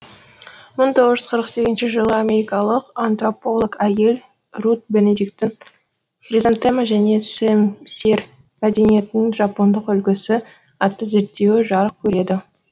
мың тоғыз жүз қырық сегізінші жылы америкалық антрополог әйел рут бенедиктің хризантема және сэм сэр мәдениеттің жапондық үлгісі атты зерттеуі жарық көреді